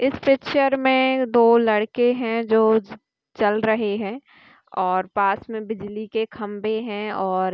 इस पिक्चर में दो लडके हैं जो चल रहे हैं और पास में बिजली के खंबे हैं और--